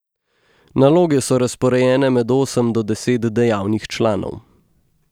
Naloge so razporejene med osem do deset dejavnih članov.